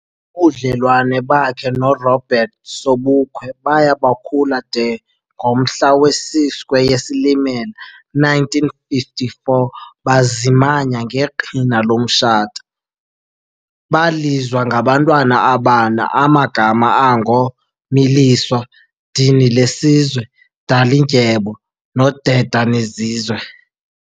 Ubudlelwane bakhe no Robert Sobukwe baya bukhula de ngomhla wesi 6 kweyeSilimela 1954 bazimanya ngeqhina lomtshato, balizwa ngabantwana abane amagama ango Miliswa, Dinilesizwe, Dalindyebo no Dedanizizwe.